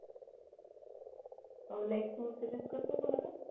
अं like messages करतो का मला